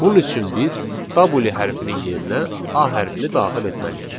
Bunun üçün biz w hərfinin yerinə a hərfini daxil etməliyik.